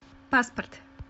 паспорт